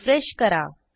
refresh करा